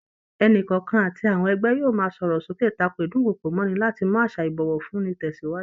Ẹnìkọ̀ọ̀kan àti àwọn ẹgbẹ́ yóò máa sọ̀rọ̀ sókè tako ídùnkokò mọ́'ni láti mú àṣà ìbọ̀wọ̀ fún ni tẹsiwaju